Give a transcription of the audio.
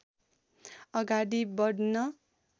अगाडि बढ्न